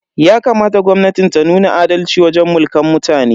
Yakamata gwamnatin ta nuna adalci wajen Mulkan mutane.